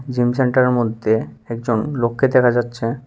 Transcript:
Gym সেন্টারের মধ্যে একজন লোককে দেখা যাচ্ছে।